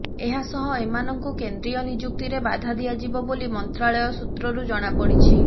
ଏହାସହ ଏମାନଙ୍କୁ କେନ୍ଦ୍ରୀୟ ନିଯୁକ୍ତିରେ ବାଧା ଦିଆଯିବ ବୋଲି ମନ୍ତ୍ରାଳୟ ସୂତ୍ରରୁ ଜଣାପଡ଼ିଛି